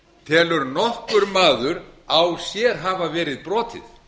telur nokkur maður á sér hafa verið brotið